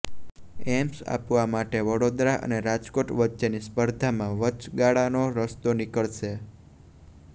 AIIMS આપવા માટે વડોદરા અને રાજકોટ વચ્ચેની સ્પર્ધામાં વચગાળાનો રસ્તો નીકળશે